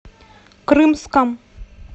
крымском